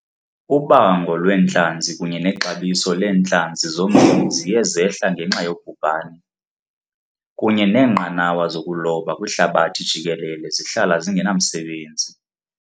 Ubango lwentlanzi kunye nexabiso leentlanzi zombini ziye zehla ngenxa yobhubhani, kunye neenqanawa zokuloba kwihlabathi jikelele zihlala zingenamsebenzi.